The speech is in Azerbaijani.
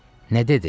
Nə dedi?